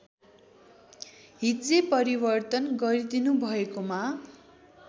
हिज्जे परिवर्तन गरिदिनुभएकोमा